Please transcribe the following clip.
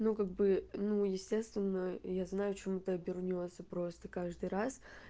ну как бы ну естественно я знаю чем это обернётся просто каждый раз